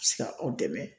Se ka aw dɛmɛ